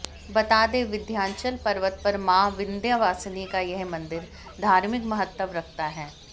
बता दें विंध्यांचल पर्वत पर मां विंध्यवासिनी का यह मंदिर धार्मिक महत्व रखता है